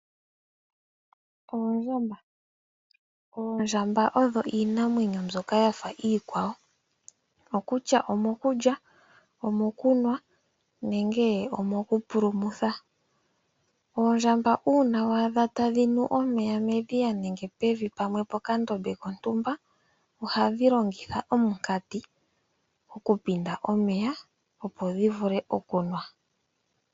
Oondjamba Oondjamba odho iinamwenyo mbyoka ya fa iikwawo; okutya omokulya, omokunwa nenge omokupulumutha. Oondjamba uuna wa adha tadhi nu omeya medhiya nenge pevi pamwe mokandombe kontumba ohadhi longitha omunkati okupinda omeya, opo dhi vule okunwa.